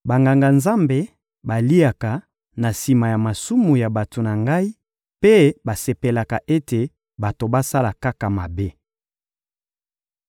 Banganga-Nzambe baliaka na sima ya masumu ya bato na Ngai mpe basepelaka ete bato basala kaka mabe.